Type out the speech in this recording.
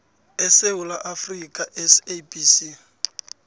esewula afrika sabc